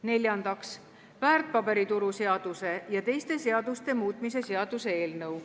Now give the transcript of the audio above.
Neljandaks, väärtpaberituru seaduse ja teiste seaduste muutmise seaduse eelnõu.